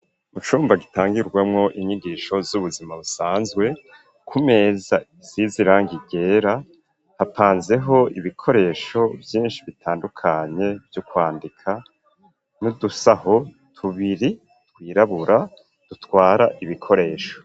Mu cumba gitangirwamo inyigisho z'ubuzima busanzwe ku meza zizirangi ryera hapanzeho ibikoresho vyinshi bitandukanye vyo kwandika n'udusaho tubiri twirabura dutwara ibikoresho.